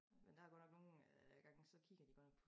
Men der godt nok nogen øh jeg engang har siddet og kigget de godt nok